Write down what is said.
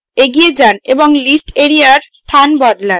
এগিয়ে যান এবং list এরিয়ার স্থান বদলান